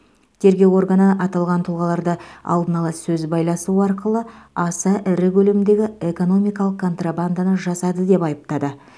тергеу органы аталған тұлғаларды алдын ала сөз байласу арқылы аса ірі көлемдегі экономикалық контрабанданы жасады деп айыптады